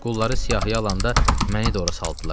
Qulları siyahıya alanda məni də ora saldılar.